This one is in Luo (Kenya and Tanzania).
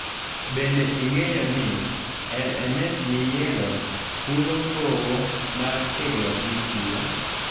Bende ing'eyo ni LMS miyiero fulo gowo mar tiegruok michiwo.